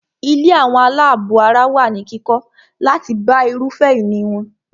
Ilé àwọn àlábọ̀ ara wà ní kíkọ́ láti bá irúfẹ́ ìní wọn.